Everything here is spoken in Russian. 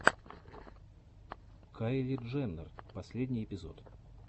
кайли дженнер последний эпизод